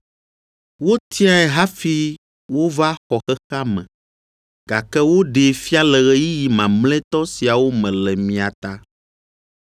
Wotiae hafi wova wɔ xexea me, gake woɖee fia le ɣeyiɣi mamlɛtɔ siawo me le mia ta.